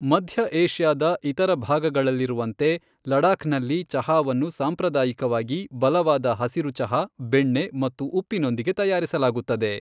ಮಧ್ಯ ಏಷ್ಯಾದ ಇತರ ಭಾಗಗಳಲ್ಲಿರುವಂತೆ, ಲಡಾಖ್ನಲ್ಲಿ ಚಹಾವನ್ನು ಸಾಂಪ್ರದಾಯಿಕವಾಗಿ ಬಲವಾದ ಹಸಿರು ಚಹಾ, ಬೆಣ್ಣೆ ಮತ್ತು ಉಪ್ಪಿನೊಂದಿಗೆ ತಯಾರಿಸಲಾಗುತ್ತದೆ.